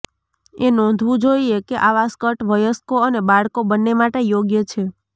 એ નોંધવું જોઇએ કે આવા સ્કર્ટ વયસ્કો અને બાળકો બંને માટે યોગ્ય છે